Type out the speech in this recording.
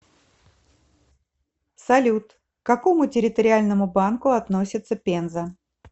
салют к какому территориальному банку относится пенза